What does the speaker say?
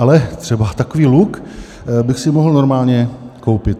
Ale třeba takový luk bych si mohl normálně koupit.